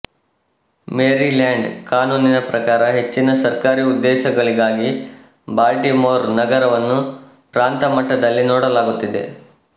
Maryland ಕಾನೂನಿನ ಪ್ರಕಾರ ಹೆಚ್ಚಿನ ಸರ್ಕಾರಿ ಉದ್ದೇಶಗಳಿಗಾಗಿ ಬಾಲ್ಟಿಮೋರ್ ನಗರವನ್ನು ಪ್ರಾಂತಮಟ್ಟದಲ್ಲಿ ನೋಡಲಾಗುತ್ತಿದೆ